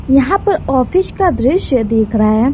यहां पर ऑफिस का दृश्य दिख रहा है।